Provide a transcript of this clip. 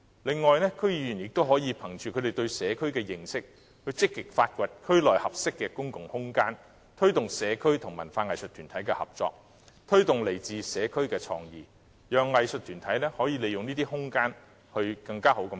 此外，區議員亦可憑着他們對社區的認識，積極發掘區內合適的公共空間，推動社區和文化藝術團體的合作，鼓勵來自社區的創意，讓藝術團體可善用這些空間。